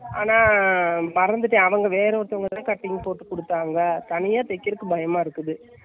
ஆனால் மறந்துட்டேன்அளவு, வேற ஒருத்தவங்க கிட்ட cutting போட்டு கொடுத்தாங்க, தனியா தைக்குறதுக்கு பயமா இருக்குது.